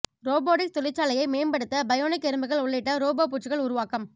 robotics தொழிற்சாலையை மேம்ப்படுத்த bionic எறும்புகள் உள்ளிட்ட ரோபோ பூச்சிகள் உருவாக்கம்